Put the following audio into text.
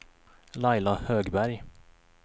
Laila Högberg